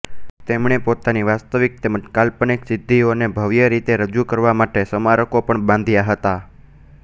તેમણે પોતાની વાસ્તવિક તેમજ કાલ્પનિક સિદ્ધિઓને ભવ્ય રીતે રજૂ કરવા માટે સ્મારકો પણ બાંધ્યા હતા